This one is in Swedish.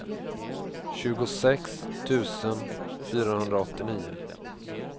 tjugosex tusen fyrahundraåttionio